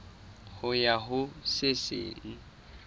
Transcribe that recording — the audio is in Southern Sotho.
ho ya ho se seng